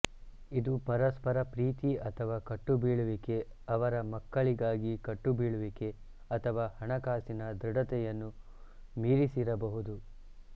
ಇದು ಪರಸ್ಪರ ಪ್ರೀತಿ ಅಥವಾ ಕಟ್ಟುಬೀಳುವಿಕೆ ಅವರ ಮಕ್ಕಳಿಗಾಗಿ ಕಟ್ಟುಬೀಳುವಿಕೆ ಅಥವಾ ಹಣಕಾಸಿನ ದೃಢತೆಯನ್ನು ಮೀರಿಸಿರಬಹುದು